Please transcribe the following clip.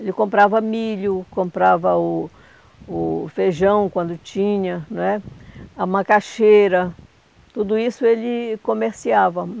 Ele comprava milho, comprava o o feijão quando tinha, não é? a macaxeira, tudo isso ele comerciava.